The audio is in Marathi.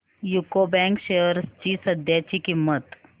यूको बँक शेअर्स ची सध्याची किंमत